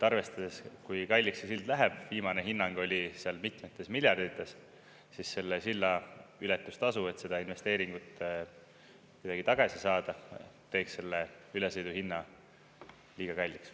Arvestades, kui kalliks see sild läheb – viimane hinnang oli seal mitmetes miljardites –, siis selle silla ületustasu, et seda investeeringut kuidagi tagasi saada, teeks selle ülesõidu hinna liiga kalliks.